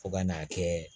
Fo ka n'a kɛ